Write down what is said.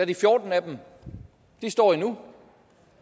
de fjorten af dem endnu